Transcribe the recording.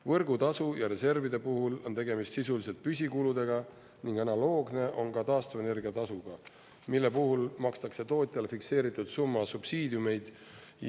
Võrgutasu ja reservide puhul on tegemist sisuliselt püsikuludega ning analoogne on ka taastuvenergia tasuga, mille puhul makstakse tootjale fikseeritud summa subsiidiumeid.